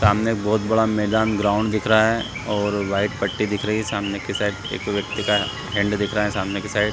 सामने बहुत बड़ा मैदान ग्राउंड दिख रहा है और व्हाइट पट्टी दिख रही है सामने के साइड एक व्यक्ति का हैंड दिख रहा है सामने के साइड --